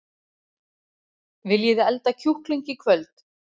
Nei! Það kom mér svolítið á óvart!